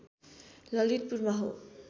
ललितपुरमा हो